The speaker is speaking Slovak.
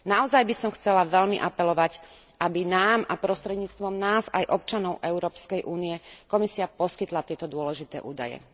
Naozaj by som chcela veľmi apelovať, aby nám a prostredníctvom nás aj občanom Európskej únie Komisia poskytla tieto údaje.